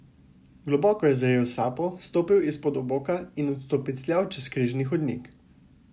Globoko je zajel sapo, stopil izpod oboka in odstopicljal čez križni hodnik.